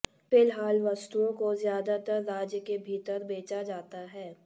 फिलहाल वस्तुओं को ज्यादातर राज्य के भीतर बेचा जाता है